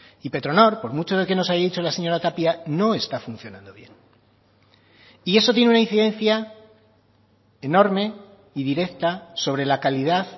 y petronor por mucho de que nos haya dicho la señora tapia no está funcionando bien y eso tiene una incidencia enorme y directa sobre la calidad